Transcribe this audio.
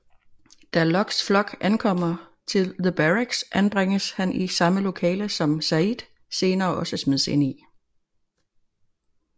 Da Lockes flok ankommer til The Barracks anbringes han i samme lokale som Sayid senere også smides ind i